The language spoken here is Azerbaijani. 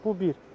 Bu bir.